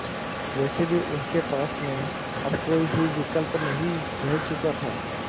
वैसे भी उनके पास में अब कोई भी विकल्प नहीं रह चुका था